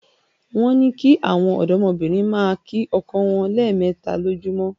Wọ́n ní kí àwọn ọ̀dọ́bìnrin máa kí ọkọ wọn lẹ́ẹ̀mẹta lójoojúmọ́